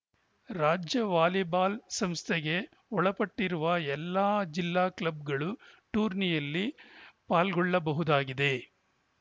ರಾಜ್ಯ ವಾಲಿಬಾಲ್‌ ಸಂಸ್ಥೆಗೆ ಒಳಪಟ್ಟಿರುವ ಎಲ್ಲಾ ಜಿಲ್ಲಾ ಕ್ಲಬ್‌ಗಳು ಟೂರ್ನಿಯಲ್ಲಿ ಪಾಲ್ಗೊಳ್ಳಬಹುದಾಗಿದೆ